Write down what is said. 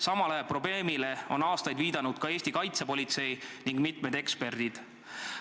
Samale probleemile on aastaid viidanud ka Eesti kaitsepolitsei ning mitmed eksperdid.